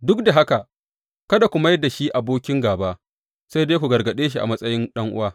Duk da haka kada ku mai da shi abokin gāba, sai dai ku gargaɗe shi a matsayin ɗan’uwa.